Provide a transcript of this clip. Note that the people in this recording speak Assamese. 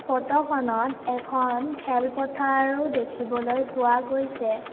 ফটোখনত এখন খেল পথাৰোও দেখিবলৈ পোৱা গৈছে।